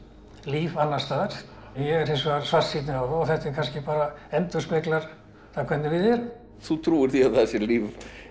líf annars staðar ég er hins vegar svartsýnni á það kannski endurspeglar hvernig við erum þú trúir því að það sé líf